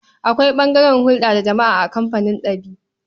Akwai ɓangaren hulɗa da jama'a a kamfanin ɗab'i.